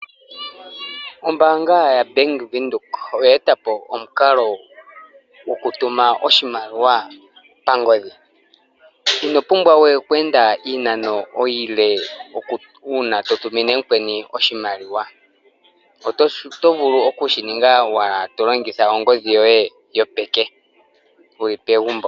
Ombaanga yaBank Windhoek oye eta po omukalo go ku tuma oshimaliwa pangodhi. Ino pumbwa we oku enda iinano iile ,uuna to tumine omuntu oshimaliwa, oto vulu oku shi ninga to longitha ongodhi yoye yopeke, wuli pegumbo.